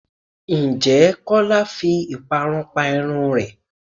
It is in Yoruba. Ǹjẹ́ Kọ́lá fi ìparun pa irun rẹ?